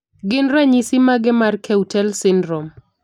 Gin ranyisis mage mar Keutel syndrome?